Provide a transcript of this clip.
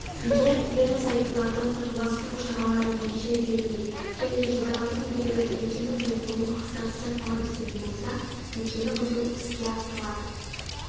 егер ерлі зайыптыларды татуластыру шаралары нәтиже бермей және жұбайлардың біреуі некенің бұзылуын қасарыса талап ететін болса некені бұзу іске асырылады